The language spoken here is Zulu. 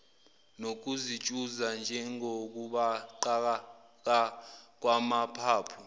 nokutshuza njengokubaqaka kwamaphaphu